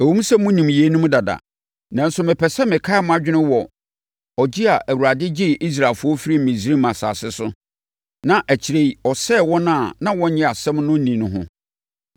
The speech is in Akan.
Ɛwom sɛ monim yeinom dada, nanso mepɛ sɛ mekae mo adwene wɔ ɔgye a Awurade gyee Israelfoɔ firii Misraim asase so na akyire yi, ɔsɛee wɔn a na wɔnnye asɛm no nni no ho.